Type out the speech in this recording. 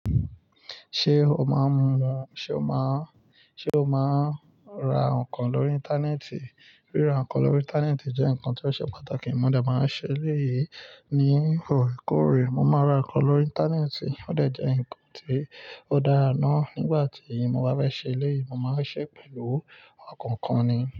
Ṣé o máa ń mu, ṣe o máa ń, ṣe o máa ń ra nǹkan lórí Íńtánẹ́ẹ̀tì? Ríra nǹkan lórí Íńtánẹ́ẹ̀tì jẹ́ nǹkan tó ṣe pàtàkì. Mo dà máa ń ṣe eléyìí ní orekore. Mo máa ra nǹkan lórí Íńtánẹ́ẹ̀tì. Ó dà jẹ́ ǹkan tó dára ná. Nígbà tí mo bá fẹ́ ṣe eléyìí, mo máa ń ṣe pẹ̀lú ọkàn kan ni.